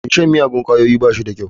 Mai shan miyagun ƙwayoyi ba shi da kyau.